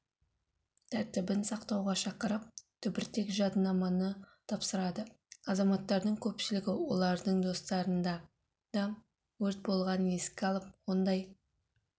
тәртібін сақтауға шақырып түбіртек-жаднаманы тапсырады азаматтардың көпшілігі олардың достарында да өрт болғанын еске алып ондай